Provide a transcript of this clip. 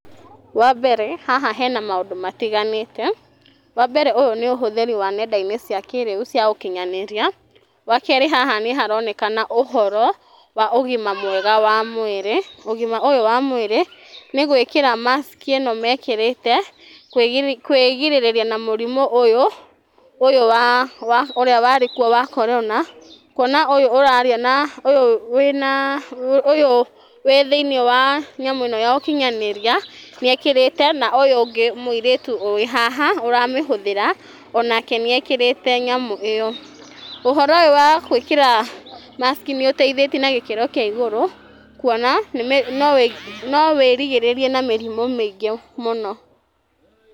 Wambere haha hena maũndũ matiganĩte, wambere ũyũ nĩ ũhũthĩri wa nendainĩ cia kĩriu cia ũkinyanĩria wakerĩ haha nĩ haronekana ũhoro wa ũgima mwega wa mwĩrĩ ,ũgima ũyũ wa mwĩrĩ nĩ gwĩkĩra mask ĩno mekĩrĩte kwĩgirĩrĩria na mũrimũ ũyũ wa ũrĩa warĩkuo wa korona kũona ũyũ wĩna ũyũ wĩ thĩiniĩ wa nyamũ ĩno ya ũkinyanĩria na ũyũ ũngĩ mũirĩtu wĩ haha ũramĩhũthĩra onake nĩ ekĩrete nyamũ ĩyo. Ũhoro ũyũ wa gwĩkĩra mask nĩ ũteithĩtie na gĩkĩro kĩa igũrũ kuona no wĩrigĩrĩrie na mĩrimũ mĩingĩ mũno.